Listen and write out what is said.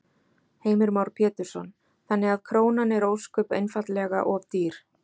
Heimir Már Pétursson: Þannig að krónan er ósköp einfaldlega of dýr?